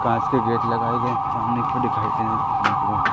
कांच के गेट लगाए हैं सामने की ओर दिखाई दे रहे